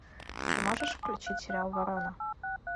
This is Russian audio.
ты можешь включить сериал ворона